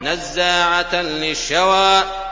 نَزَّاعَةً لِّلشَّوَىٰ